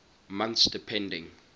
months depending